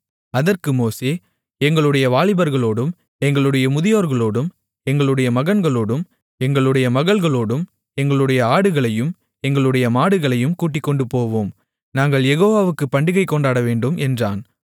அதற்கு மோசே எங்களுடைய வாலிபர்களோடும் எங்களுடைய முதியோர்களோடும் எங்களுடைய மகன்களோடும் எங்களுடைய மகள்களோடும் எங்களுடைய ஆடுகளையும் எங்களுடைய மாடுகளையும் கூட்டிக்கொண்டுபோவோம் நாங்கள் யெகோவாவுக்குப் பண்டிகை கொண்டாடவேண்டும் என்றான்